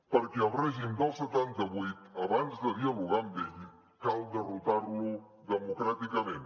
perquè el règim del setanta vuit abans de dialogar amb ell cal derrotar lo democràticament